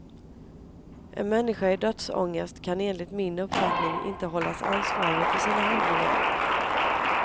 En människa i dödsångest kan enligt min uppfattning inte hållas ansvarig för sina handlingar.